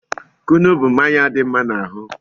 Kunu bụ mmanya dị mma n'ahụ